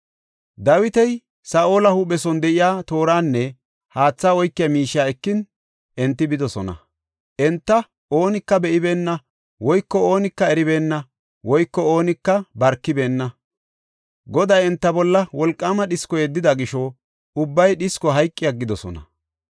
Dawiti Saa7ola huuphe son de7iya tooranne haathe oykiya miishiya ekin, enti bidosona. Enta oonika be7ibeenna woyko oonika eribeenna woyko oonika barkibeenna. Goday enta bolla wolqaama dhisko yeddida gisho ubbay dhisko hayqi aggidosona.